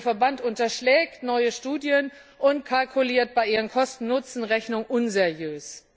Der Verband unterschlägt neue Studien und kalkuliert bei seinen Kosten Nutzen Rechnungen unseriös.